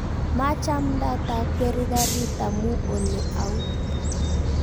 Maachamndaata akweri garit amu ole au